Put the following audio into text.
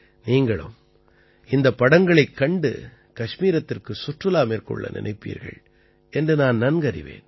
நீங்களும் இந்தப் படங்களைக் கண்டு கஷ்மீரத்திற்குச் சுற்றுலா மேற்கொள்ள நினைப்பீர்கள் என்று நான் நன்கறிவேன்